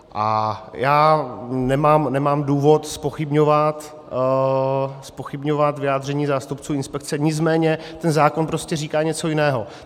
A já nemám důvod zpochybňovat vyjádření zástupců inspekce, nicméně ten zákon prostě říká něco jiného.